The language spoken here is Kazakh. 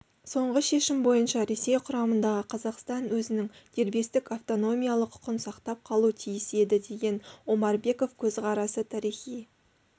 соңғы шешім бойынша ресей құрамындағы қазақстан өзінің дербестік автономиялы құқын сақтап қалуы тиіс еді деген омарбеков көзқарасы тарихи